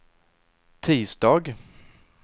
tisdag